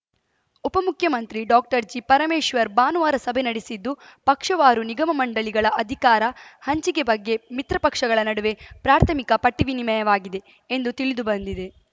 ಉಪಮುಖ್ಯಮಂತ್ರಿ ಡಾಕ್ಟರ್ಜಿ ಪರಮೇಶ್ವರ್‌ ಭಾನುವಾರ ಸಭೆ ನಡೆಸಿದ್ದು ಪಕ್ಷವಾರು ನಿಗಮಮಂಡಳಿಗಳ ಅಧಿಕಾರ ಹಂಚಿಕೆ ಬಗ್ಗೆ ಮಿತ್ರ ಪಕ್ಷಗಳ ನಡುವೆ ಪ್ರಾಥಮಿಕ ಪಟ್ಟಿವಿನಿಮಯವಾಗಿದೆ ಎಂದು ತಿಳಿದು ಬಂದಿದೆ